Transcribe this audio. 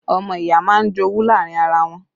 Ọmọ ìyá máa ń jowú láàrin ara wọ́n